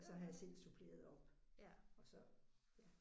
Og så har jeg selv suppleret op og så ja